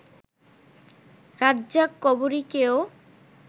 রাজ্জাক-কবরীকেও